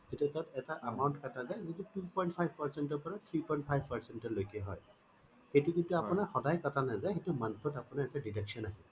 তেতিয়া ধৰক এটা amount কাটা যায় সেইটো two point five percent ৰ পৰা three point five percent লৈকে হয় সেইটো কিন্তু আপোনাৰ সদায় কাটা নাযায় সেইটোত month ত আপোনাৰ deduction আহে